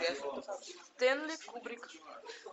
стэнли кубрик